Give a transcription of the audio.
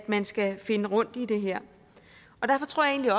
man skal finde rundt i det her og derfor tror jeg